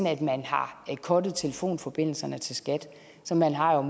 at man har cuttet telefonforbindelserne til skat så man har jo